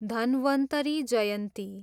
Dhanvantari Jayanti